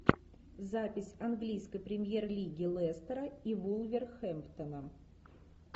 запись английской премьер лиги лестера и вулверхэмптона